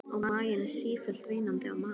Og maginn sífellt veinandi á mat.